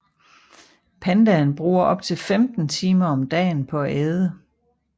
Pandaen bruger op til 15 timer om dagen på at æde